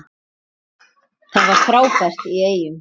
Það var frábært í Eyjum.